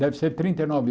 Deve ser trinta e nove